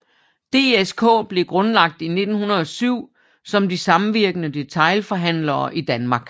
DSK blev grundlagt i 1907 som De Samvirkende Detailhandlere i Danmark